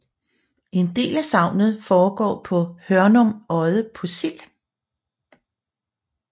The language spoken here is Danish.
En del af sagnet foregår på Hørnum Odde på Sild